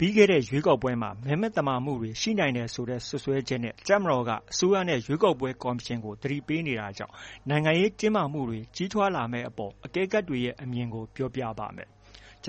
ပြီးခဲ့တဲ့ရွေးကောက်ပွဲမှာ မဲမသမာမှုတွေ ရှိနိုင်တယ်ဆိုတဲ့ စွပ်စွဲချက်နဲ့ တပ်မတော်က အစိုးရနဲ့ ရွေးကောက်ပွဲ ကော်မရှင်ကို သတိပေးနေတာကြောင့် နိုင်ငံရေးတင်းမာမှုတွေ ကြီးထွားလာမယ့်အပေါ် အကဲခတ်တွေရဲ့ အမြင်တွေကို ဗွီအိုအေမြန်မာပိုင်း သတင်း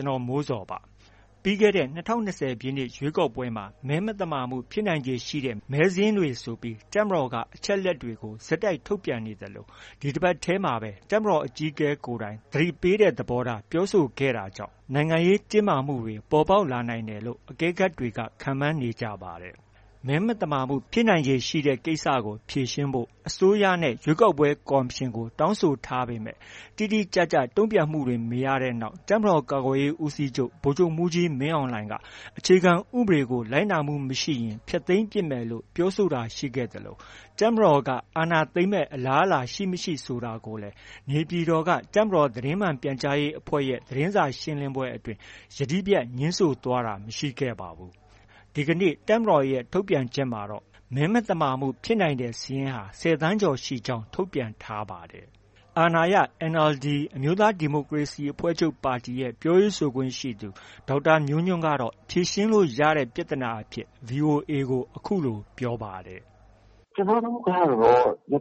ထောက် ကိုမိုးဇော်က ပြောပြပေးပါမယ်။ ပြီးခဲ့တဲ့ ၂၀၂၀ ပြည့်နှစ် ရွေးကောက်ပွဲမှာ မဲမသမာမှုဖြစ်နိုင်ခြေရှိတဲ့ မဲစာရင်းတွေဆိုပြီး တပ်မတော်က အချက်အလက်တွေကို ဆက်တိုက် ထုတ်ပြန်နေသလို ဒီတပတ်ထဲမှာပဲ တပ်မတော်အကြီးအကဲကိုယ်တိုင် သတိပေးတဲ့ သဘောထား ပြောဆိုခဲ့တာကြောင့် နိုင်ငံရေး တင်းမာမှုတွေ ပေါ်ပေါက်လာနိုင်တယ်လို့ အကဲခတ်တွေ ခန့်မှန်းနေကြပါတယ်။ မဲမသမာမှုတွေ ဖြစ်နိုင်ခြေရှိတဲ့ ကိစ္စကို ဖြေရှင်းဖို့ အစိုးရနဲ့ ရွေးကောက်ပွဲကော်မရှင်ကို တောင်းဆိုထားပေမဲ့ တိတိကျကျ တ့ုံပြန်မှုတွေ မရတဲ့နောက် တပ်မတော်ကာကွယ်ရေးဦးစီးချုပ် ဗိုလ်ချုပ်မှူးကြီးမင်းအောင်လှိုင်က အခြေခံ ဥပဒေကို လိုက်နာမှုမရှိရင် ဖျက်သိမ်းပစ်မယ်လို့ ပြောဆိုတာရှိခဲ့သလို တပ်မတော်က အာဏာသိမ်းမယ့် အလားအလာရှိ၊ မရှိ ဆိုတာကိုလည်း နေပြည်တော်က တပ်မတော်သတင်းမှန် ပြန်ကြားရေးအဖွဲ့ရဲ့ သတင်းစာရှင်းလင်းပွဲအတွင်း ယတိပြတ် ငြင်းဆန်သွားတာ မရှိခဲ့ပါဘူး။ ဒီကနေ့ တပ်မတော်ရဲ့ ထုတ်ပြန်ချက်မှာတော့ မဲမသမာမှုဖြစ်နိုင်တဲ့စာရင်းဟာ ၁၀ သန်းကျော်ရှိကြောင်း ထုတ်ပြန်ထားပါတယ်။ အာဏာရ NLD အမျိုးသားဒီမိုကရေစီအဖွဲ့ချုပ် ပြောရေးဆိုခွင့်ရှိသူ ဒေါက်တာမျိုးညွှန့်ကတော့ ဖြေရှင်းလို့ရတဲ့ ပြဿနာအဖြစ် VOA ကို အခုလို ပြောပါတယ်။ “ကျနော်တို့ကတော့ ၂၀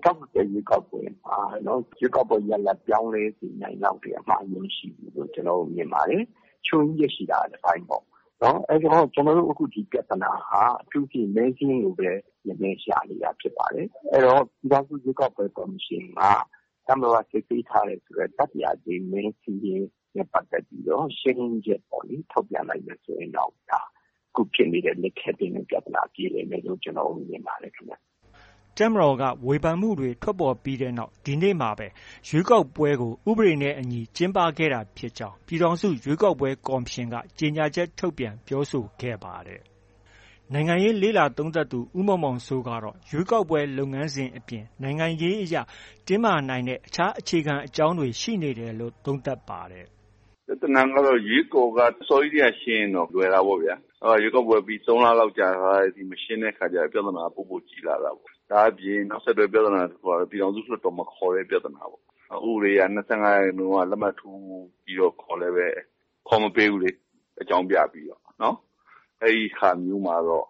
၂၀ ရွေးကောက်ပွဲမှာ ရွေးကောက်ပွဲရလဒ် ပြောင်းလဲစေနိုင်လောက်တဲ့ အမှားအယွင်း မရှိဘူးလို့ မြင်ပါတယ်။ ချို့ယွင်းချက် ရှိတာက တစ်ပိုင်းပေါ့။ ကျနော်တို့ အခု ဒီပြဿနာဟာ အထူးသဖြင့် မဲစာရင်းကိုပဲ ရမယ်ရှာနေတာဖြစ်ပါတယ်။ အဲဒီတော့ ပြည်ထောင်စု ရွေးကောက်ပွဲကော်မရှင်က တပ်မတော်က စစ်ဆေးထားတဲ့ တတိယအကြိမ် မဲစာရင်းနဲ့ပတ်သက်ပြီး ရှင်းလင်းချက် ထုတ်ပြန်လိုက်မယ်ဆိုရင်တော့ ဒါ ခုဖြစ်နေတဲ့ လိပ်ခဲတည်းလည်း ပြဿနာက ပြေလည်မယ်လို့ ကျနော်တို့ မြင်ပါတယ်။” တပ်မတော်က ဝေဖန်မှုတွေ ထွက်ပေါ်ခဲ့ပြီးနောက် ဒီနေ့မှာပဲ ရွေးကောက်ပွဲကို ဥပဒေနဲ့အညီ ကျင်းပခဲ့တာဖြစ်ကြောင်း ပြည်ထောင်စု ရွေးကောက်ပွဲ ကော်မရှင်က ကြေညာချက်ထုတ်ပြန် ပြောဆိုခဲ့ပါတယ်။ နိုင်ငံရေးလေ့လာသုံးသပ်သူ ဦးမောင်မောင်စိုးကတော့ ရွေးကောက်ပွဲလုပ်ငန်းစဉ်အပြင် နိုင်ငံရေးအရ တင်းမာနိုင်တဲ့ အခြား အခြေခံအကြောင်းရင်းတွေ ရှိနေတယ်လို့ သုံးသပ်ပါတယ်။ “ပြဿနာက ရွေးကော်က အစောကြီးတည်းက ရှင်းရင်တော့ လွယ်တာပေါ့ဗျာ။ အဲဒီတော့ ရွေးကောက်ပွဲပြီး ၃ လလောက် ကြာလာတဲ့အထိ မရှင်းတဲ့အခါကျ ပြဿနာက ပိုပိုကြီးလာတာပေါ့။ ဒါပြင်နောက်ဆက်တွဲပြဿနာကတော့ ပြည်ထောင်စုလွှတ်တော် မခေါ်တဲ့ ပြဿနာပေါ့။ ဥပဒေအရ ၂၅ ရာခိုင်နှုန်းက လက်မှတ်ထိုးပြီးတော့ ခေါ်လည်းပဲ ခေါ်မပေးဘူးလေ။ အကြောင်းပြပြီးတော့။ အဲဒီဟာမျိုးမှာတော့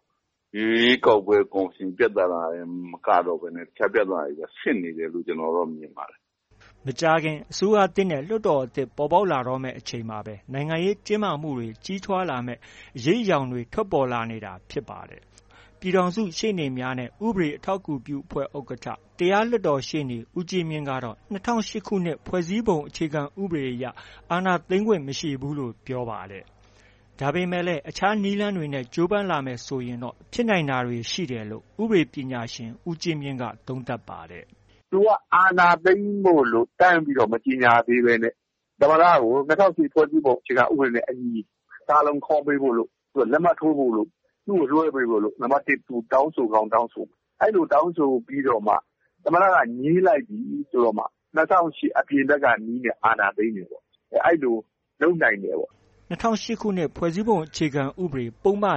ရွေးကောက်ပွဲကော်မရှင် ပြဿနာတင်မကတော့ဘဲနဲ့ အခြားပြဿနာတွေပါ ဖြစ်နေတယ်လို့ ကျနော်တော့ မြင်ပါတယ်။” မကြာခင် အစိုးရသစ်နဲ့ လွှတ်တော်သစ်တွေ ပေါ်ပေါက်တော့မယ့် အချိန်မှာပဲ နိုင်ငံရေးတင်းမာမှုတွေ ကြီးထွားလာမယ့် အရိပ်အယောင်တွေ ထွက်ပေါ်လာနေတာ ဖြစ်ပါတယ်။ ပြည်ထောင်စုရှေ့နေများနဲ့ ဥပဒေထောက်ကူပြုအဖွဲ့ ဥက္ကဋ္ဌ၊ တရားလွှတ်တော်ရှေ့နေ ဦးကြီးမြင့်ကတော့ ၂၀၀၈ ခုနှစ်ဖွဲ့စည်းပုံအခြေခံဥပဒေအရ အာဏာသိမ်းခွင့် မရှိဘူးလို့ ပြောပါတယ်။ ဒါပေမဲ့လည်း အခြားနည်းလမ်းတွေနဲ့ ကြိုးပမ်းလာမယ် ဆိုရင်တော့ ဖြစ်နိုင်တာတွေ ရှိတယ်လို့လည်း ဥပဒေပညာရှင် ဦးကြီးမြင့်က သုံးသပ်ပါတယ်။ “သူက အာဏာသိမ်းဖို့လို့ တန်းပြီးတော့ မကြေညာဘဲနဲ့။ သမ္မတကို ၂၀၀၈ ဖွဲ့စည်းပုံနဲ့အညီ ကာလုံခေါ်ပေးဖို့တို့၊ လက်မှတ်ထိုးပေးဖို့တို့၊ သူ့ကို လွဲှပေးဖို့တို့ သူတောင်းဆိုကောင်း တောင်းဆိုမယ်။ အဲဒီလိုတောင်းဆိုပြီးတော့မှ သမ္မတက ငြင်းလိုက်ပြီဆိုတော့မှ ၂၀၀၈ အပြင်ဘက်ကနည်းနဲ့ အာဏာသိမ်းတယ်ပေါ့။ အဲဒီလို လုပ်နိုင်တယ်ပေါ့။” ၂၀၀၈ ခုနှစ် ဖွဲ့စည်းပုံအခြေခံဥပဒေ ပုဒ်မ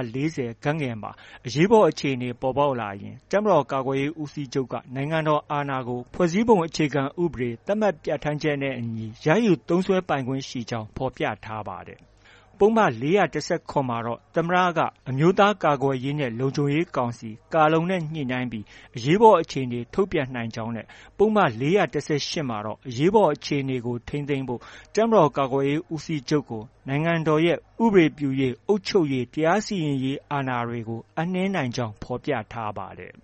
၄၀(ဂ) မှာ အရေးပေါ်အခြေအနေပေါ်ပေါက်လာရင် တပ်မတော်ကာကွယ်ရေးဦးစီးချုပ်က နိုင်ငံတော်အာဏာကို ဖွဲ့စည်းပုံအခြေခံဥပဒေမှာ သတ်မှတ် ပြဌာန်းချက်နဲ့အညီ ရယူသုံးစွဲနိုင်ခွင့်ရှိကြောင်း ဖော်ပြထားပါတယ်။ ပုဒ်မ၄၁၇ မှာတော့ သမ္မတက အမျိုးသားကာကွယ်ရေးနဲ့ လုံခြုံရေးကောင်စီ (ကာလုံ)နဲ့ ညှိနှိုင်းပြီး အရေးပေါ်အခြေအနေထုတ်ပြန်နိုင်ကြောင်းနဲ့ ပုဒ်မ ၄၁၈မှာတော့ အရေးပေါ်အခြေအနေကို ထိန်းသိမ်းဖို့ တပ်မတော်ကာကွယ်ရေးဦးစီးချုပ်ကို နိုင်ငံတော်ရဲ့ ဥပဒေပြုရေး၊ အုပ်ချုပ်ရေး၊ တရားစီရင်ရေး အာဏာတွေကို အပ်နှင်းနိုင်ကြောင်းလည်း ဖော်ပြထားပါတယ်